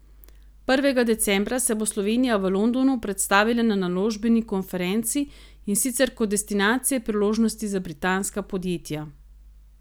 Prvega decembra se bo Slovenija v Londonu predstavila na naložbeni konferenci, in sicer kot destinacija priložnosti za britanska podjetja.